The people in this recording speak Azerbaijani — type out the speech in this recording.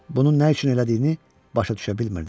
Bunun nə üçün elədiyini başa düşə bilmirdim.